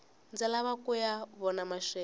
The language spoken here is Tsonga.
ndzi lava kuya vona maxelo